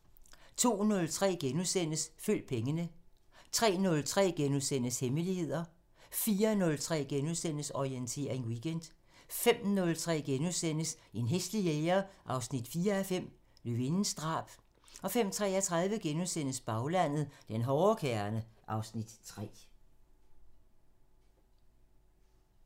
02:03: Følg pengene * 03:03: Hemmeligheder * 04:03: Orientering Weekend * 05:03: En hæslig jæger 4:5 – Løvindens drab * 05:33: Baglandet: Den hårde kerne (Afs. 3)*